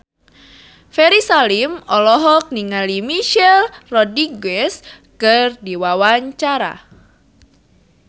Ferry Salim olohok ningali Michelle Rodriguez keur diwawancara